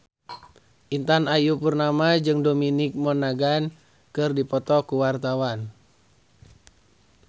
Intan Ayu Purnama jeung Dominic Monaghan keur dipoto ku wartawan